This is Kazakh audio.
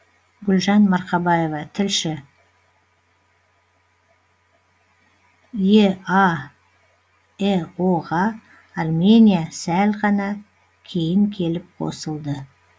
гүлжан марқабаева тілші еаэо ға армения сәл ғана кейін келіп қосылды